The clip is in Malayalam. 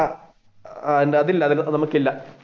എന്താ അതില്ല അതൊന്നും നമുക്കില്ല.